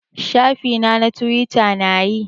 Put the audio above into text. Shafi na na twita na yi.